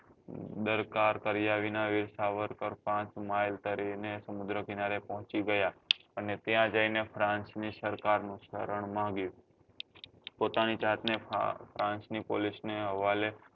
દરકાર કર્યા વિના વીર સરકાર તરી ને સમુદ્ર કિનારે પહોચી ગયા અને ત્યાં જઈ ને france ની સરકાર નું સરણ માગ્યું પોતાની જાત ને france ની police નાં હવાલે